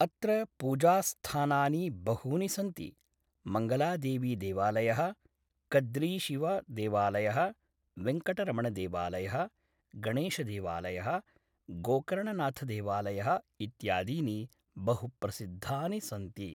अत्र पूजास्थानानि बहूनि सन्ति मङ्गलादेवीदेवालयः कद्रीशिवदेवालयः वेङ्कटरमणदेवालयः गणेशदेवालयः गोकर्णनाथदेवालयः इत्यादीनि बहुप्रसिद्धानि सन्ति